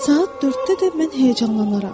Saat dörddə də mən həyəcanlanaram.